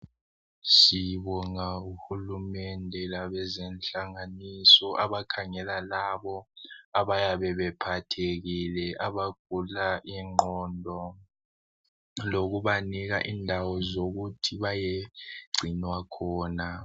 Sibonga uhulumende labezenhlanganiso abakhangela labo abayabe bephathekile abagula ingqondo lokubanika indawo zokuthi bayegcinwa khona.